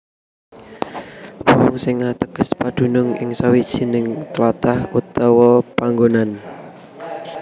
Wong sing ateges padunung ing sawijining tlatah utawa panggonan